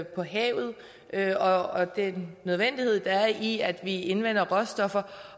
på havet havet og den nødvendighed der er i at vi indvinder råstoffer